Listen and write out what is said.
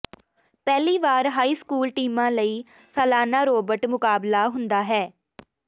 ਪਹਿਲੀ ਵਾਰ high school ਟੀਮਾਂ ਲਈ ਸਾਲਾਨਾ ਰੋਬੋਟ ਮੁਕਾਬਲਾ ਹੁੰਦਾ ਹੈ